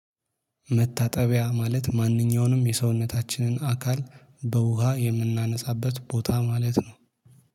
መታጠቢያ ማለት ማንኛውንም የሰውነታችንን አካል በውሃ የምናነጻበት ቦታ ማለት ነው።